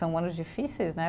São anos difíceis, né?